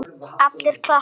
Allir klappa.